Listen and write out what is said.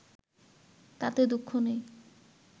তাতে দুঃখ নেই